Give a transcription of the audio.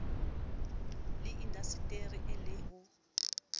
le dindaseteri e le ho